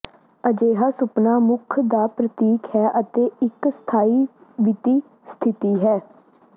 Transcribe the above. ਅਜਿਹਾ ਸੁਪਨਾ ਸੁੱਖ ਦਾ ਪ੍ਰਤੀਕ ਹੈ ਅਤੇ ਇਕ ਸਥਾਈ ਵਿੱਤੀ ਸਥਿਤੀ ਹੈ